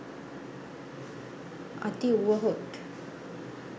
අති උවහොත්